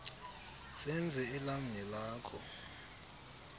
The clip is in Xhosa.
senze elam nelakho